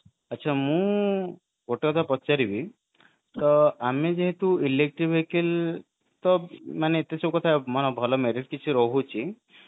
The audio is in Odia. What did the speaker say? ଆଛା ମୁଁ ଗୋଟେକଥା ପଚାରିବି ଆମେ ଯେହେତୁ electric vehicle ତ ଏତେ ସବୁ କଥା ମାନେ ଭଲ major କିଛି ରହୁଛି